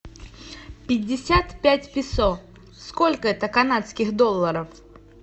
пятьдесят пять песо сколько это канадских долларов